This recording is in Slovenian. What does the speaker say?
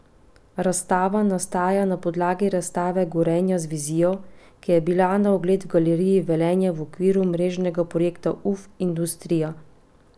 Razstava nastaja na podlagi razstave Gorenje z vizijo, ki je bila na ogled v Galeriji Velenje v okviru mrežnega projekta Uf, industrija!